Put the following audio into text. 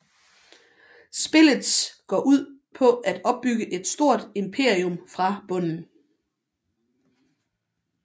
Spillets går ud på at opbygge et stort imperium fra bunden